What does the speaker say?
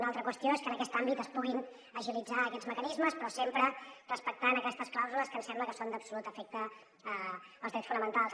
una altra qüestió és que en aquest àmbit es puguin agilitzar aquests mecanismes però sempre respectant aquestes clàusules que ens sembla que són d’absolut efecte per als drets fonamentals